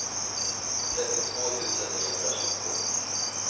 trettiotvå tusen niohundratjugotvå